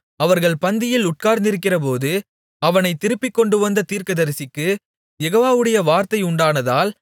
அவர்கள் பந்தியில் உட்கார்ந்திருக்கிறபோது அவனைத் திருப்பிக் கொண்டுவந்த தீர்க்கதரிசிக்குக் யெகோவாவுடைய வார்த்தை உண்டானதால்